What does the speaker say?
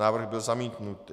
Návrh byl zamítnut.